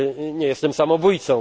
robił. Nie jestem samobójcą!